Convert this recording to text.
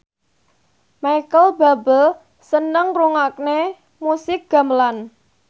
Micheal Bubble seneng ngrungokne musik gamelan